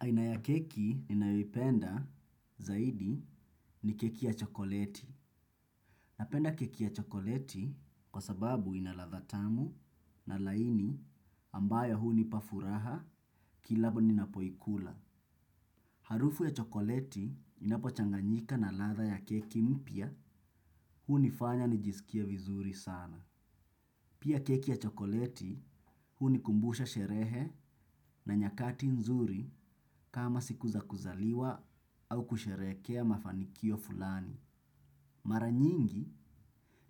Aina ya keki ninayoipenda, zaidi ni keki ya chokoleti. Napenda keki ya chokoleti kwa sababu ina ladha tamu na laini ambayo hunipa furaha kila ninapoikula. Harufu ya chokoleti inapochanganyika na ladha ya keki mpya hunifanya nijisikie vizuri sana. Pia keki ya chokoleti hunikumbusha sherehe na nyakati nzuri kama siku za kuzaliwa au kusherekea mafanikio fulani. Mara nyingi,